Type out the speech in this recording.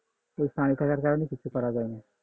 তো পানি থাকার কারণে কিছু করা যায় না